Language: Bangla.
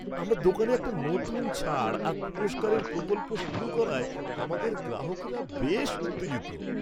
আমরা দোকানে একটা নতুন ছাড় আর পুরস্কারের প্রকল্প শুরু করায় আমাদের গ্রাহকরা বেশ উত্তেজিত।